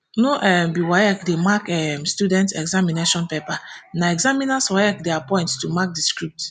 no um be waec dey mark um students examination paper na examiners waec dey appoint to mark di scripts